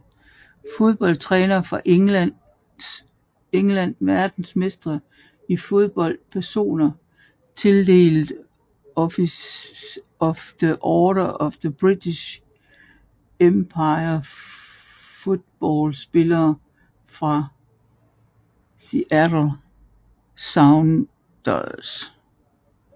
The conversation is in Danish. Fodboldtrænere fra England Verdensmestre i fodbold Personer tildelt Officer of the Order of the British Empire Fodboldspillere fra Seattle Sounders